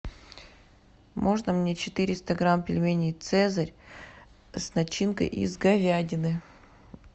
можно мне четыреста грамм пельменей цезарь с начинкой из говядины